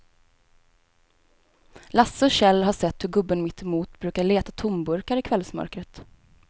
Lasse och Kjell har sett hur gubben mittemot brukar leta tomburkar i kvällsmörkret.